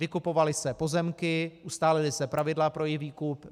Vykupovaly se pozemky, ustálila se pravidla pro jejich výkup.